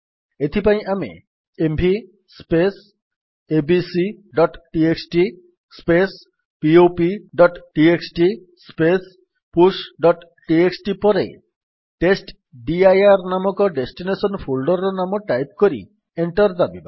ଏଥିପାଇଁ ଆମେ ଏମଭି abcଟିଏକ୍ସଟି popଟିଏକ୍ସଟି pushଟିଏକ୍ସଟି ପରେ ଟେଷ୍ଟଡିର ନାମକ ଡେଷ୍ଟିନେସନ୍ ଫୋଲ୍ଡର୍ ର ନାମ ଟାଇପ୍ କରି ଏଣ୍ଟର୍ ଦାବିବା